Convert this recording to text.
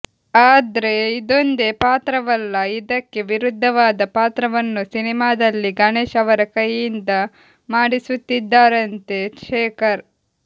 ಆದ್ರೆ ಇದೊಂದೇ ಪಾತ್ರವಲ್ಲ ಇದಕ್ಕೆ ವಿರುದ್ಧವಾದ ಪಾತ್ರವನ್ನು ಸಿನಿಮಾದಲ್ಲಿ ಗಣೇಶ್ ಅವರ ಕೈಯಿಂದ ಮಾಡಿಸುತ್ತಿದ್ದಾರಂತೆ ಶೇಖರ್